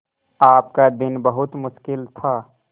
आपका दिन बहुत मुश्किल था